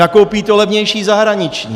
Nakoupí to levnější zahraniční.